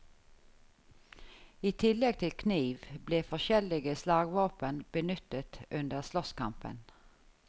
I tillegg til kniv ble forskjellige slagvåpen benyttet under slåsskampen.